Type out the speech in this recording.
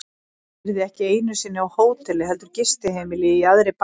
Ég yrði ekki einu sinni á hóteli heldur gistiheimili í jaðri bæjarins.